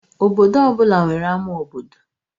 Obodo ọ bụla nwere ama obodo